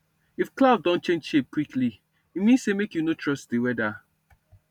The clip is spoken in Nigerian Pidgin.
if cloud don change shape quickly e mean say make you no trust the weather